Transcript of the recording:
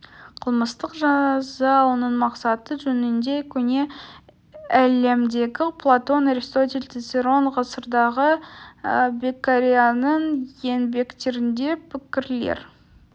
қылмыстық жаза оның мақсаты жөнінде көне әлемдегі платон аристотель цицерон ғасырдағы беккарианың еңбектерінде пікірлер